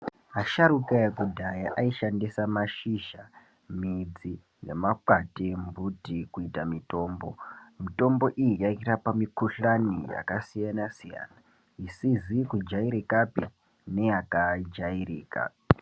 Asharuka ekudhaya aishandisa mashizha, midzi nemakwati embuti kuita mitombo. Mitombo iyi yairapa mikuhlani yakasiyana-siyana, isizi kujairikapi neyakajairika.